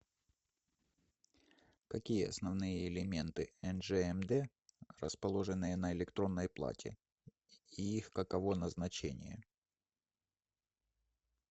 какие основные элементы нжмд расположенные на электронной плате и их каково назначение